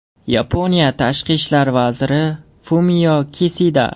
Yaponiya tashqi ishlar vaziri Fumio Kisida.